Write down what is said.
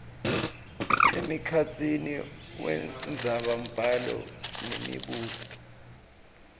emkhatsini wendzabambhalo nemibuto